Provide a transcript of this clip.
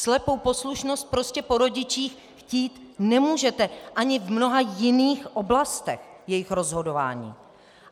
Slepou poslušnost prostě po rodičích chtít nemůžete ani v mnoha jiných oblastech jejich rozhodování.